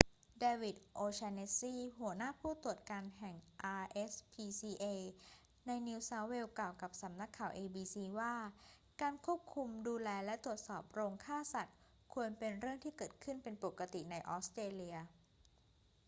เดวิด โอ'แชนเนสซี หัวหน้าผู้ตรวจการแห่ง rspca ในนิวเซาท์เวล กล่าวกับสำนักข่าว abc ว่าการควบคุมดูแลและตรวจสอบโรงฆ่าสัตว์ควรเป็นเรื่องที่เกิดขึ้นเป็นปกติในออสเตรเลีย